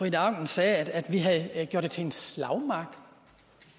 ida auken sagde at vi havde gjort det til en slagmark